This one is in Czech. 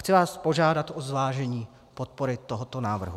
Chci vás požádat o zvážení podpory tohoto návrhu.